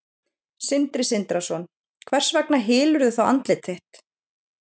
Sindri Sindrason: Hvers vegna hylurðu þá andlit þitt?